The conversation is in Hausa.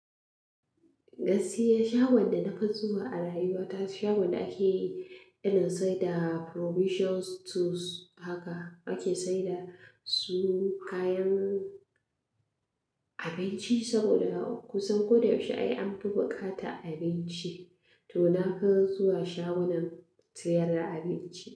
Gaskiya shagon da nafi zuwa a rayuwa ta, shagon da ake irin siyar da provisions stores haka. Ake saida su kayan abinci saboda kusan ko da yaushe ai an fi bukatar abinci. To na fi zuwa shagon sayar da abinci.